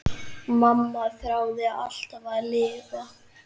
Mamma þráði alltaf að lifa.